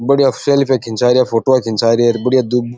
बढ़िया सेल्फी खिचारिया फोटो खींचा रिया और बढ़िया --